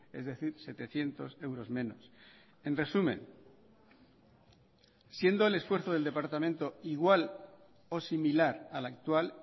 es decir setecientos euros menos en resumen siendo el esfuerzo del departamento igual o similar al actual